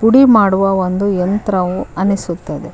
ಪುಡಿ ಮಾಡುವ ಒಂದು ಯಂತ್ರವು ಅನಿಸುತ್ತದೆ.